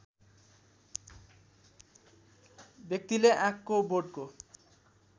व्यक्तिले आँकको बोटको